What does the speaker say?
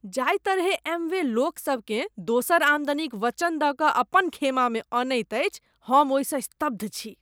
जाहि तरहेँ एमवे लोकसभकेँ दोसर आमदनीक वचन दऽ कऽ अपन खेमामे अनैत अछि, हम ओहिसँ स्तब्ध छी।